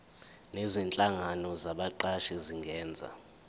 nezinhlangano zabaqashi zingenza